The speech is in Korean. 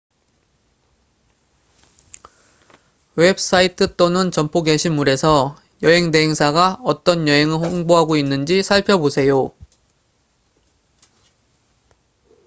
웹사이트 또는 점포 게시물에서 여행 대행사가 어떤 여행을 홍보하고 있는지 살펴보세요